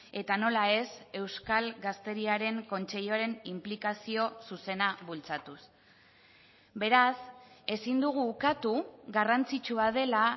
eta nola ez euskal gazteriaren kontseiluaren inplikazio zuzena bultzatuz beraz ezin dugu ukatu garrantzitsua dela